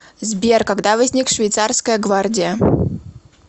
сбер когда возник швейцарская гвардия